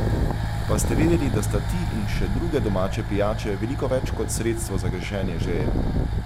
Pa ste vedeli, da sta ti in še druge domače pijače veliko več kot sredstvo za gašenje žeje?